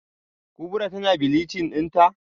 Kubra tana bleaching dinta?